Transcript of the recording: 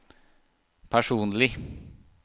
personlig